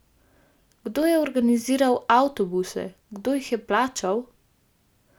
Kdo je organiziral avtobuse, kdo jih je plačal?